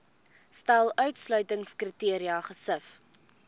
stel uitsluitingskriteria gesif